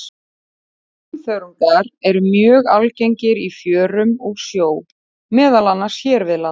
Brúnþörungar eru mjög algengir í fjörum og sjó, meðal annars hér við land.